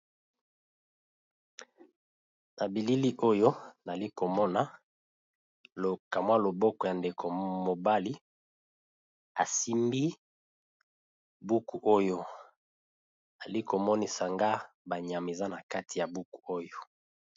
Na bilili oyo alikomona lokamwa loboko ya ndeko mobali asimbi buku oyo alikomonisa nga banyameza na kati ya buku oyo.